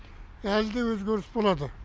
әлі де өзгеріс болады